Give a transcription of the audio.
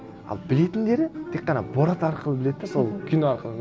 ал білетіндері тек қана борат арқылы біледі де сол кино арқылы